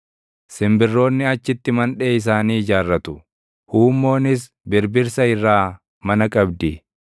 Simbirroonni achitti mandhee isaanii ijaarratu; huummoonis birbirsa irraa mana qabdi.